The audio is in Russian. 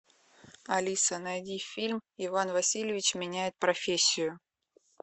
алиса найди фильм иван васильевич меняет профессию